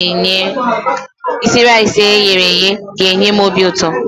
Isi raisi eyere eye a ga-enye m obi ụtọ.